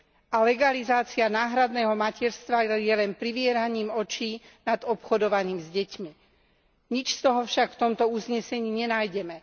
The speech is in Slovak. A legalizácia náhradného materstva je len privieraním očí nad obchodovaním s deťmi. Nič z toho však v tomto uznesení nenájdeme.